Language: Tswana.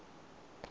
matloane